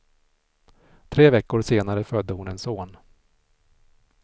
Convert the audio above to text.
Tre veckor senare födde hon en son.